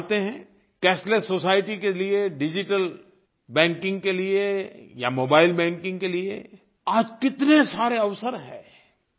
आप जानते हैं कैशलेस सोसाइटी के लिये डिजिटल बैंकिंग के लिये या मोबाइल बैंकिंग के लिये आज कितने सारे अवसर हैं